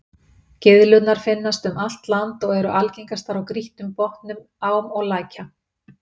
Gyðlurnar finnast um allt land og eru algengastar á grýttum botnum ám og lækja.